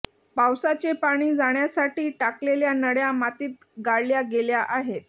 पावसाचे पाणी जाण्यासाठी टाकलेल्या नळ्या मातीत गाडल्या गेल्या आहेत